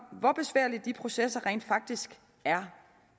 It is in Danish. hvor besværlige de processer rent faktisk er